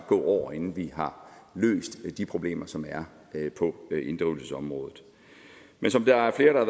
gå år inden vi har løst de problemer som er på inddrivelsesområdet men som der er flere der